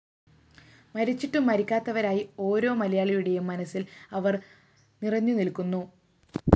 മരിച്ചിട്ടും മരിക്കാത്തവരായി ഓരോ മലയാളിയുടെയും മനസ്സില്‍ അവര്‍ നിറഞ്ഞുനില്‍ക്കുന്നു